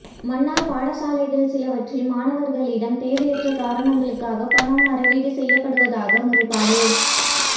மன்னார் பாடசாலைகள் சிலவற்றில் மாணவர்களிடம் தேவையற்ற காரணங்களுக்காக பணம் அறவீடு செய்யப்படுவதாக முறைப்பாடு